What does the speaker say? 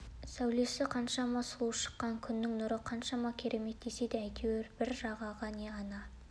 сәулесі қаншама сұлу шыққан күннің нұры қаншама керемет десе де әйтеуір бір жағаға не ана